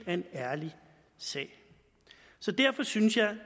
en ærlig sag så derfor synes jeg at